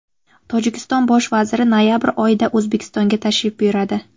Tojikiston bosh vaziri noyabr oyida O‘zbekistonga tashrif buyuradi.